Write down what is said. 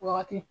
O wagati